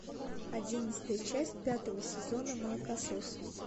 одиннадцатая часть пятого сезона молокососы